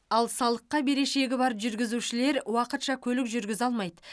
ал салыққа берешегі бар жүргізушілер уақытша көлік жүргізе алмайды